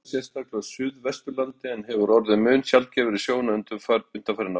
Henni farnaðist vel, sérstaklega á suðvesturlandi, en hefur orðið mun sjaldgæfari sjón undanfarin ár.